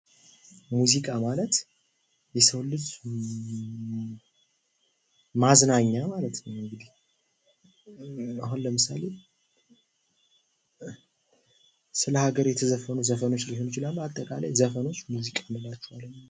ሙዚቃ ማለት የሰውን ልጅ ማዝናኛ ማለት ነው። አሁን ለምሳሌ ስለሃገር የተዘፈኑ ዘፈኖች ሊሆኑ ይችላሉ አጠቃላይ ዘፈኖች ሙዚቃ እንላቸዋለን ማለት ነው።